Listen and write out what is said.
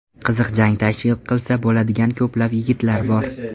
Qiziq jang tashkil qilsa bo‘ladigan ko‘plab yigitlar bor.